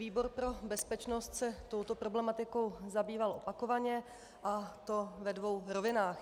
Výbor pro bezpečnost se touto problematikou zabýval opakovaně, a to ve dvou rovinách.